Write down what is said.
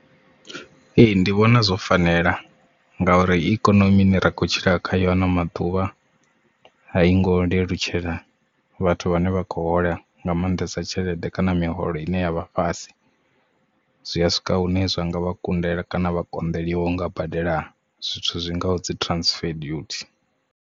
Ee ndi vhona zwo fanela nga uri ikonomi ine ra khou tshila khayo a no maḓuvha a i ngo lelutshela vhathu vhane vha khou hola nga maanḓesa tshelede kana miholo ine ya vha fhasi zwi a swika hune zwanga vha kundela kana vha konḓeliwa u nga badela zwithu zwi ngaho dzi transfer dutie.